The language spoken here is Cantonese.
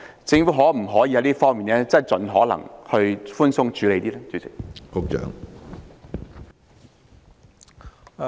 政府可否盡可能在這方面寬鬆處理？